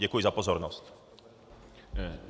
Děkuji za pozornost.